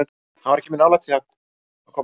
Hann var ekki mjög nálægt því að koma inn á núna.